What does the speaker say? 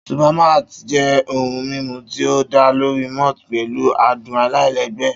Supermalt jẹ́ ohun mímu tí ó dá lórí malt pẹ̀lú adùn aláìlẹ́gbẹ́.